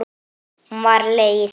Hún var leið.